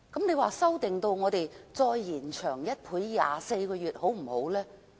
那麼，再延長1倍至24個月好不好呢？